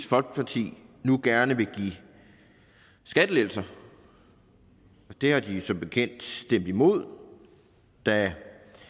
folkeparti nu gerne vil give skattelettelser og det har de jo som bekendt stemt imod da